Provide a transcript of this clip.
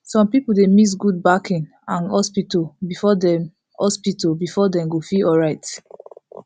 some people dey mix god backing and hospital before dem hospital before dem go feel alright